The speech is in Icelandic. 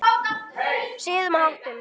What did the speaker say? Siðum og háttum.